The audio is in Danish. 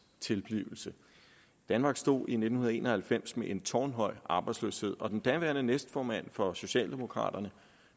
tilblivelse danmark stod i nitten en og halvfems med en tårnhøj arbejdsløshed og den daværende næstformand for socialdemokraterne